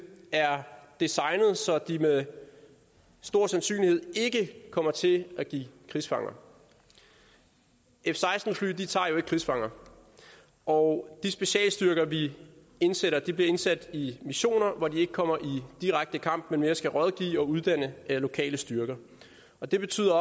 er designet så de med stor sandsynlighed ikke kommer til at give krigsfanger f seksten fly tager jo ikke krigsfanger og de specialstyrker vi indsætter bliver indsat i missioner hvor de ikke kommer i direkte kamp men mere skal rådgive og uddanne lokale styrker det betyder